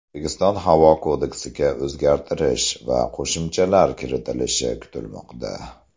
O‘zbekiston havo kodeksiga o‘zgartirish va qo‘shimchalar kiritilishi kutilmoqda.